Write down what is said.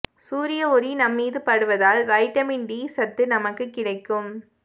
சூரிய ஒளி நம்மீது படுவதால் வைட்டமின் டி சத்து நமக்கு கிடைக்கும்